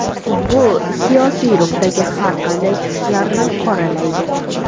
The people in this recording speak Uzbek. Futbol siyosiy ruhdagi har qanday chiqishlarni qoralaydi.